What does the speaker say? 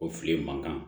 O fili mankan